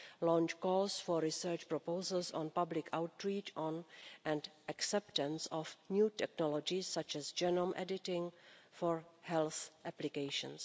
how to launch calls for research proposals on public outreach and acceptance of new technologies, such as genome editing, for health applications